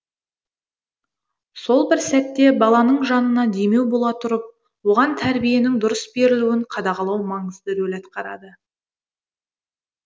сол бір сәтте баланың жанына демеу бола тұрып оған тәрбиенің дұрыс берілуін қадағалау маңызды рөл атқарады